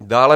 Dále